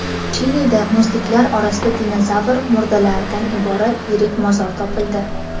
Chilida muzliklar orasida dinozavr murdalaridan iborat yirik mozor topildi.